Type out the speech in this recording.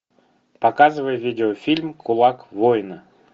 показывай видеофильм кулак воина